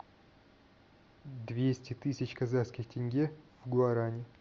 двести тысяч казахских тенге в гуарани